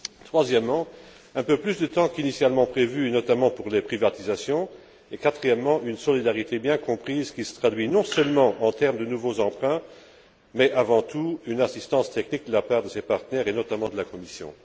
troisièmement, un peu plus de temps qu'initialement prévu, notamment pour les privatisations, et quatrièmement, une solidarité bien comprise, qui se traduit non seulement par de nouveaux emprunts, mais avant tout par une assistance technique de la part de ses partenaires, et notamment de la Commission.